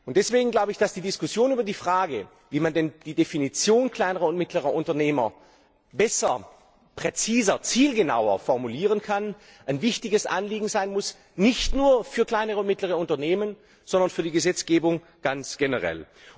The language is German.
Deswegen glaube ich, dass die Diskussion über die Frage, wie man denn die Definition kleiner und mittlerer Unternehmer besser, präziser, zielgenauer formulieren kann, ein wichtiges Anliegen sein muss, nicht nur für kleine und mittlere Unternehmen, sondern für die Gesetzgebung ganz generell.